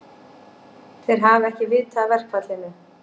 Þeir hafi ekki vitað af verkfallinu